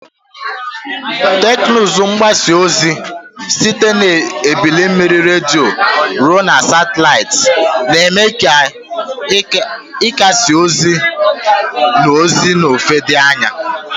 Teknụzụ mgbasa ozi, site na ebili mmiri redio ruo na satịlaịtị, na-eme ka ikesa ozi na ozi n'ofe dị anya.